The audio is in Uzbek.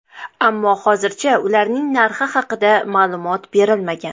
Ammo hozircha ularning narxi haqida ma’lumot berilmagan.